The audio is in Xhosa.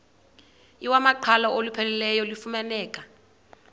iwamaqhalo olupheleleyo lufumaneka